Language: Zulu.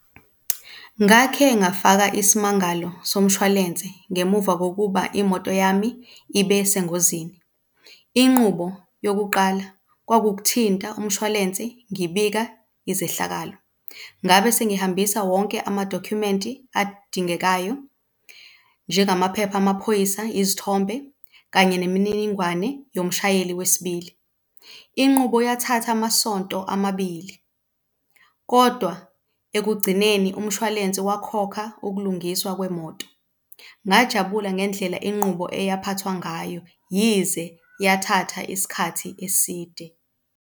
Ngakhe ngafaka isimangalo somshwalense ngemuva kokuba imoto yami ibe sengozini. Inqubo yokuqala kwakuwukuthinta umshwalense ngibika izehlakalo, ngabe sengihambisa wonke amadokhumenti adingekayo njengamaphepha amaphoyisa, izithombe kanye nemininingwane yomshayeli wesibili. Inqubo yathatha amasonto amabili kodwa ekugcineni umshwalense wakhokha ukulungiswa kwemoto. Ngajabula ngendlela inqubo eyaphathwa ngayo yize yathatha isikhathi eside.